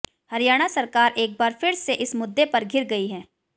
हरियाणा सरकार एक बार फिर से इस मुद्दे पर घिर गई है